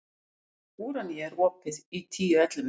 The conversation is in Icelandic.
Úranía, er opið í Tíu ellefu?